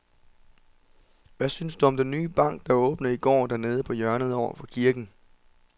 Hvad synes du om den nye bank, der åbnede i går dernede på hjørnet over for kirken?